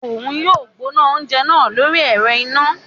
Oun yóò gbóná oúnjẹ náà lórí ẹrọ iná